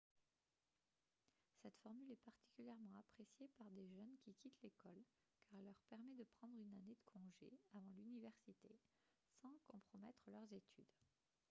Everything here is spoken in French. cette formule est particulièrement appréciée par des jeunes qui quittent l'école car elle leur permet de prendre une année de congé avant l'université sans compromettre leurs études